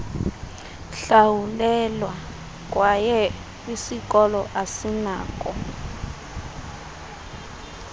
hlawulelwa kwye isikoloasinako